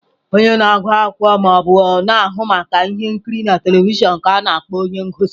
Onye na-agụ akụkọ ma ọ bụ na-ahụ maka ihe nkiri na telivishọn ka a na-akpọ onye ngosi.